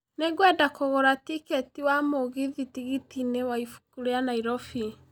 Nĩ ngwenda kũgũra tikiti wa mũgithi tigiti -inĩ wa ibũkũ rĩa nairobi